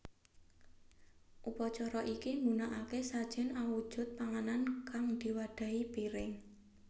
Upacara iki nggunakake sajen awujud panganan kang diwadhahi piring